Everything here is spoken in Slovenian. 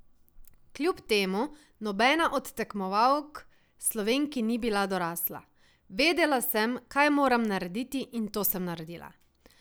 Kljub temu nobena od tekmovalk Slovenki ni bila dorasla: "Vedela sem, kaj moram narediti in to sem naredila.